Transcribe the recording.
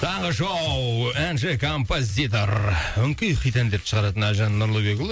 таңғы шоу әнші композитор өңкей хит әндерді шығаратын әлжан нұрлыбекұлы